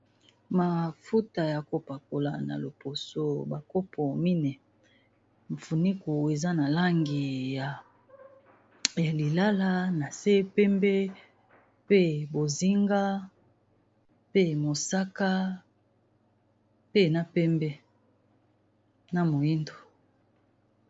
Mafuta ya kopakola na loposo bakopo mine funiku eza na langi ya lilala na se pembe pe bozinga pe mosaka pe na mpembe na moindo.